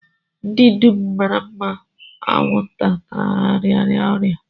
Ndị dum m maara anwụnta tara rịara ọrịa